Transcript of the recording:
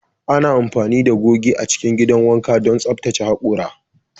Ana amfani da goge a cikin gidan wanka don tsaftace hakora